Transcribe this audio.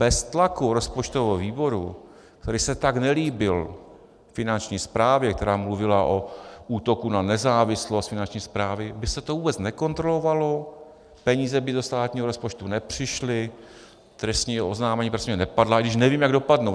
Bez tlaku rozpočtového výboru, který se tak nelíbil Finanční správě, která mluvila o útoku na nezávislost Finanční správy, by se to vůbec nekontrolovalo, peníze by do státního rozpočtu nepřišly, trestní oznámení nepadla - i když nevím, jak dopadnou.